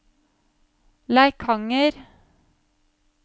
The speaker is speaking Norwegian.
Leikanger